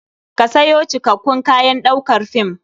Ka sayo cikakakkun kayan ɗaukar fim.